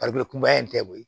kunbɛ in tɛ koyi